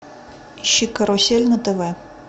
ищи карусель на тв